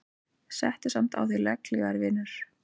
Settu samt á þig legghlífar vinur.